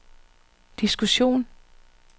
diskussion